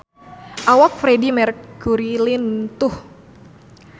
Awak Freedie Mercury lintuh